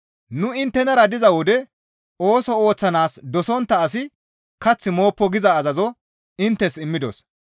Nu inttenara diza wode, «Ooso ooththanaas dosontta asi kath mooppo» giza azazo inttes immidos.